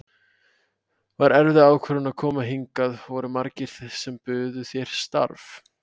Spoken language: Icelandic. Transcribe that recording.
Var erfið ákvörðun að koma hingað, voru margir sem buðu þér starf?